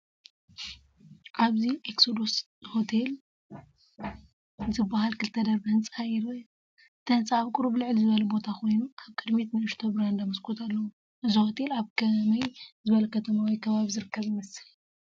ኣብዚ “ኤክሶዶስ ሆቴል” ዝበሃል ክልተ ደርቢ ህንጻ ይርአ። እቲ ህንጻ ኣብ ቁሩብ ልዕል ዝበለ ቦታ ኮይኑ፡ ኣብ ቅድሚት ንእሽቶ ብራንዳ መስኮት ኣለዎ። እዚ ሆቴል ኣብ ከመይ ዝበለ ከተማ ወይ ከባቢ ዝርከብ ይመስል?